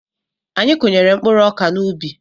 Anyị kụnyere mkpụrụ ọkà n'ubi.